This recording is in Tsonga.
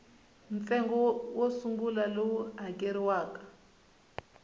ntsengo wo sungula lowu hakeriwaka